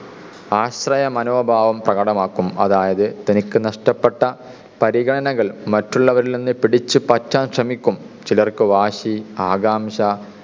ആശ്രയ മനോഭാവം പ്രകടമാക്കും അതായത് തനിക്കു നഷ്ടപ്പെട്ട പരിഗണനകൾ മറ്റുള്ളവരിൽ നിന്ന് പിടിച്ചു പറ്റാൻ ശ്രമിക്കും. ചിലർക്ക് വാശി ആകാംക്ഷ